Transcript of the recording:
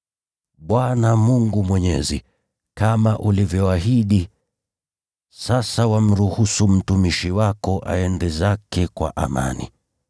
“Bwana Mwenyezi, kama ulivyoahidi, sasa wamruhusu mtumishi wako aende zake kwa amani.